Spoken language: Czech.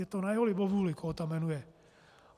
Je to na jeho libovůli, koho tam jmenuje.